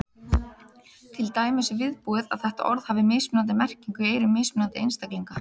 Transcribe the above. Til dæmis er viðbúið að þetta orð hafi mismunandi merkingu í eyrum mismunandi einstaklinga.